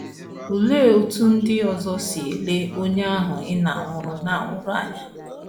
Olee otú ndị ọzọ si ele onye ahụ ị na - anwụrụ na - anwụrụ anya?